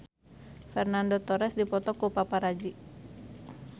Fernando Torres dipoto ku paparazi